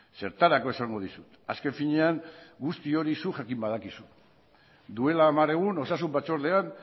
zertarako esango dizut azken finean guzti hori zuk jakin badakizu duela hamar egun osasun batzordean